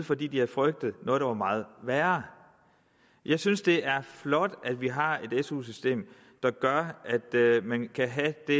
fordi de havde frygtet noget der var meget værre jeg synes det er flot at vi har et su system der gør at man kan have det